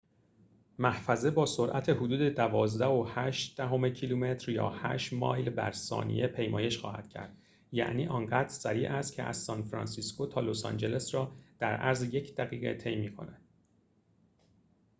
محفظه با سرعت حدود ۱۲.۸ کیلومتر یا ۸ مایل بر ثانیه پیمایش خواهد کرد یعنی آنقدر سریع است که از سان‌فرانسیسکو تا لس‌آنجلس را در عرض یک دقیقه طی می‌کند